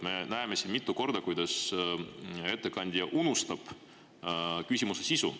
Me oleme siin mitu korda näinud, kuidas ettekandja unustab küsimuse sisu.